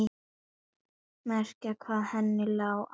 Meira hvað henni lá á að komast til hans!